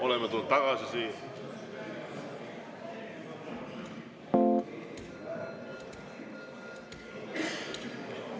Oleme tulnud siia tagasi.